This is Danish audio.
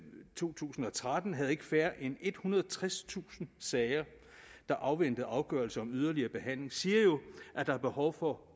to tusind og tretten havde ikke færre end ethundrede og tredstusind sager der afventede afgørelse om yderligere behandling siger jo at der er behov for